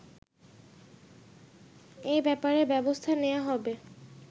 এ ব্যাপারে ব্যবস্থা নেয়া হবে